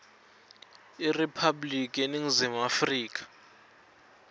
iriphabliki yeningizimu afrika